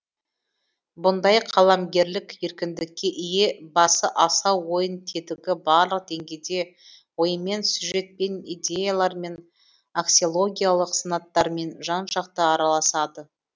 бұндай қаламгерлік еркіндікке ие басы асау ойын тетігі барлық деңгейде оймен сюжетпен идеялармен аксиологиялық санаттармен жан жақты араласады